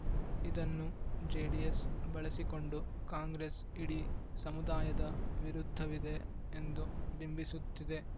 ಇದನ್ನು ಜೆಡಿಎಸ್‌ ಬಳಸಿಕೊಂಡು ಕಾಂಗ್ರೆಸ್‌ ಇಡೀ ಸಮುದಾಯದ ವಿರುದ್ಧವಿದೆ ಎಂದು ಬಿಂಬಿಸುತ್ತಿದೆ